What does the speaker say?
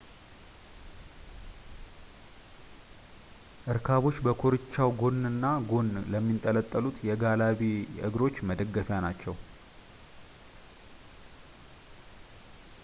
እርካቦች በኮርቻው ጎን እና ጎን ለሚንጠለጠሉት የጋላቢ እግሮች መደገፊያ ናቸው